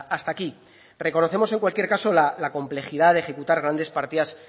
hasta aquí reconocemos en cualquier caso la complejidad de ejecutar grandes partidas